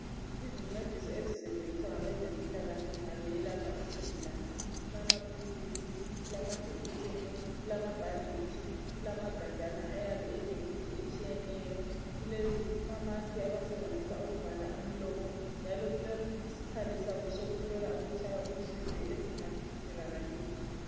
Izincedisi ezisetshenziswa ngabezempilakahle nxa beyelapha isigulane kulamaphilisi, kulamajekiseni, kulamabhanditshi, kulamagajana ayabe elemithi etshiyeneyo, kulamamask abawasebenzisa ukuvala umlomo njalo kulesikhali sabo sokuhlola ukutshaya kwenhliziyo esingaswelakaliyo.